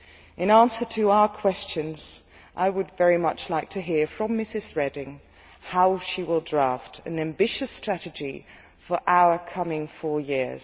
In answer to our questions, I would very much like to hear from Ms Reding how she will draft an ambitious strategy for our coming four years.